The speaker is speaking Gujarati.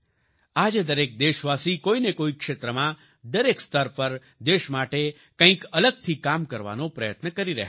આજે દરેક દેશવાસી કોઈને કોઈ ક્ષેત્રમાં દરેક સ્તર પર દેશ માટે કંઈક અલગથી કામ કરવાનો પ્રયત્ન કરી રહ્યા છે